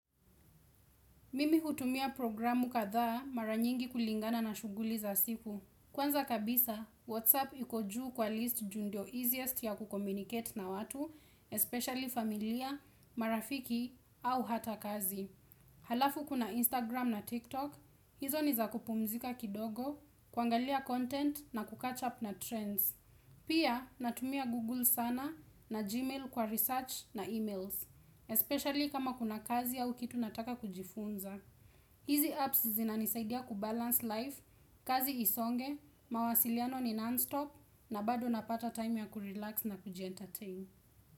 Mimi hutumia programu kadhaa mara nyingi kulingana na shughuli za siku. Kwanza kabisa, Whatsapp iko juu kwa list juu ndio easiest ya kucommunicate na watu, especially familia, marafiki, au hata kazi. Halafu kuna Instagram na TikTok, hizo nizakupumzika kidogo, kuangalia content na kucatch up na trends. Pia natumia Google sana na Gmail kwa research na emails, Especially kama kuna kazi au kitu nataka kujifunza hizi apps zinanisaidia kubalance life, kazi isonge, mawasiliano ni non-stop na bado napata time ya kurelax na kujientertain.